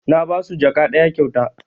Na basu jaka ɗaya kyauta